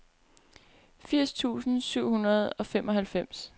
firs tusind syv hundrede og femoghalvfems